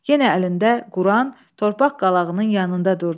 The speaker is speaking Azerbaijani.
Yenə əlində Quran torpaq qalağının yanında durdu.